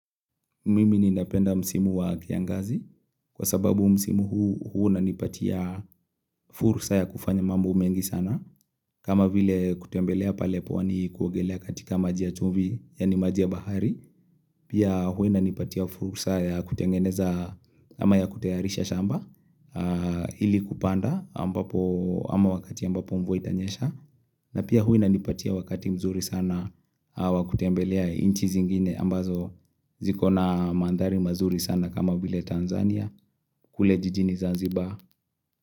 Mimi ninapenda msimu wa kiangazi kwa sababu msimu huu unanipatia fursa ya kufanya mambo mengi sana. Kama vile kutembelea pale pwani kuogelea katika majia chumvi yani majia bahari. Pia huwa na nipatia fursa ya kutengeneza ama ya kutayarisha shamba ili kupanda ama wakati ambapo mvua itanyesha. Na pia huwa inanipatia wakati mzuri sana a wa kutembelea nchi zingine ambazo ziko na mandhari mazuri sana kama vile Tanzania kule jijini Zanzibar.